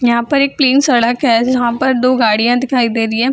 यहां पर एक प्लेन सड़क है जहां पर दो गाड़ियाँ दिखाई दे रही है।